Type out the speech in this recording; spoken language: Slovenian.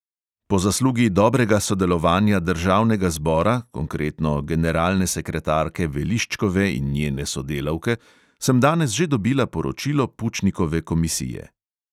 Po zaslugi dobrega sodelovanja državnega zbora, konkretno generalne sekretarke veliščkove in njene sodelavke, sem danes že dobila poročilo pučnikove komisije.